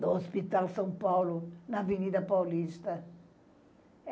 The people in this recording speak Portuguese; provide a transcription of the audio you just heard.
no Hospital São Paulo, na Avenida Paulista.